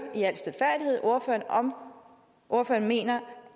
ordføreren om ordføreren mener